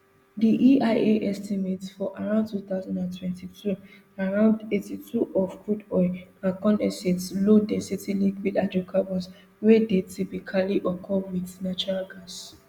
di eia estimate say for two thousand and twenty-two around eighty-two of crude oil and condensates lowdensity liquid hydrocarbons wey dey typically occur wit natural gas